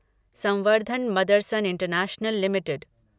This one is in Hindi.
संवर्धन मदरसन इंटरनेशनल लिमिटेड